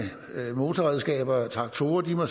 motorredskaber og traktorer må